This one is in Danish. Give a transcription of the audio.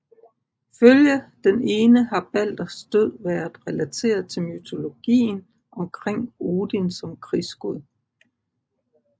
Ifølge den ene har Balders død været relateret til mytologien omkring Odin som krigsgud